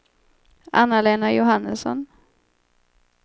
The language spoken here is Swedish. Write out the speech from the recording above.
Anna-Lena Johannesson